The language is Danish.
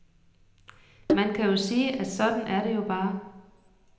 Man kan jo sige, at sådan er det jo bare.